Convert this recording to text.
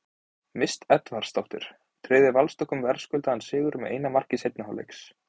Mist Edvardsdóttir tryggði Valsstúlkum verðskuldaðan sigur með eina marki seinni hálfleiks.